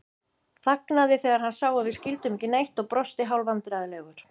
Þagnaði þegar hann sá að við skildum ekki neitt og brosti hálfvandræðalegur.